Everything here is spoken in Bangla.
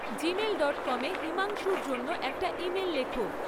জিমেল ডট কম এ হিমাংশুর জন্য একটা ইমেল লেখো